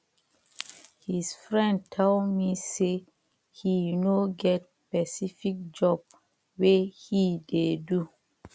his friend tell me say he no get specific job wey he dey do